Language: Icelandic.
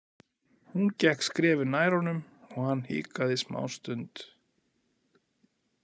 Hún gekk skrefi nær honum og hann hikaði smástund.